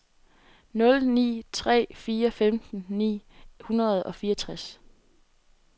nul ni tre fire femten ni hundrede og fireogtres